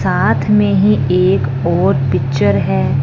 साथ में ही एक और पिक्चर है।